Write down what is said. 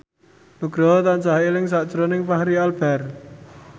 Nugroho tansah eling sakjroning Fachri Albar